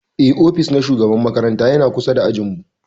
Eh, ofis na shugaban makaranta ya na kusa da ajin mu.